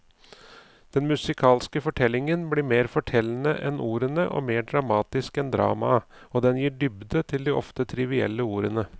Den musikalske fortellingen blir mer fortellende enn ordene og mer dramatisk enn dramaet, og den gir en dybde til de ofte trivielle ordene.